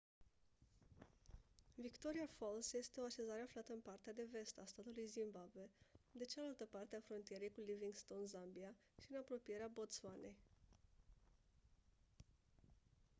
victoria falls este o așezare aflată în partea de vest a statului zimbabwe de cealaltă parte a frontierei cu livingstone zambia și în apropierea botswanei